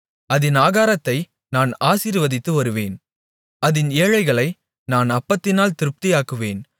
அதின் ஆகாரத்தை நான் ஆசீர்வதித்து வருவேன் அதின் ஏழைகளை நான் அப்பத்தினால் திருப்தியாக்குவேன்